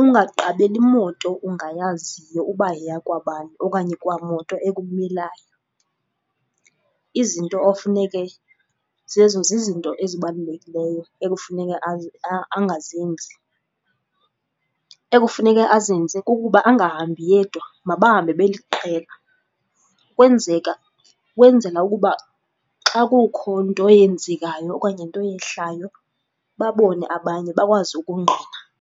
ungaqabeli moto ongayaziyo uba yeyakwabani okanye kwa moto ekumelayo. Izinto ofuneke, zezo zizinto ezibalulekileyo ekufuneka angazenzi. Ekufuneke azenze kukuba angahambi yedwa, mabahambe beliqela, kwenzela ukuba xa kukho nto eyenzekayo okanye nto eyehlayo babone abanye bakwazi ukungqina.